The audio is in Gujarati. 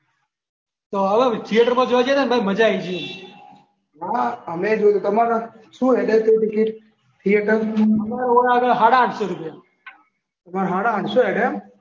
થિયેટરમાં જોવા ગયા તો મજા આઈ ગઈ. અમેય જોયું તમારે શું હેડે ટિકિટ થિયેટરમાં? અમાર સાડા આઠસો હેડે. તમાર સાડા આઠસો હેડે એમ.